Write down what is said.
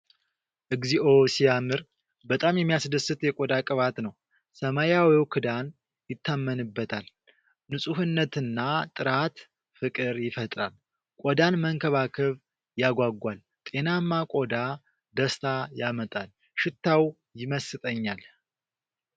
እግዚኦ ሲያምር! በጣም የሚያስደስት የቆዳ ቅባት ነው። ሰማያዊው ክዳን ይታመንበታል። ንጹህነትና ጥራት ፍቅር ይፈጥራል። ቆዳን መንከባከብ ያጓጓል። ጤናማ ቆዳ ደስታ ያመጣል። ሽታው ይመስጠኛል።